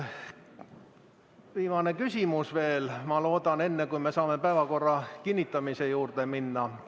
Viimane küsimus veel, ma loodan, enne kui me saame päevakorra kinnitamise juurde minna.